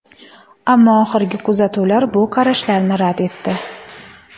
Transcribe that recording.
Ammo oxirgi kuzatuvlar bu qarashlarni rad etdi.